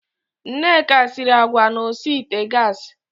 Nneka siri agwa na osi ite gassi.